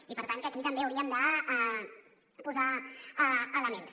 i per tant aquí també hi hauríem de posar elements